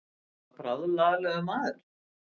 Þetta er bráðlaglegur maður.